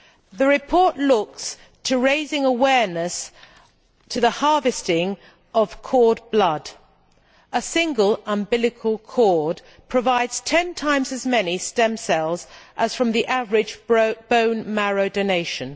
The report looks to raising awareness about the harvesting of cord blood. A single umbilical cord provides ten times as many stem cells as the average bone marrow donation.